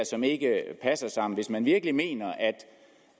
som ikke passer sammen hvis man virkelig mener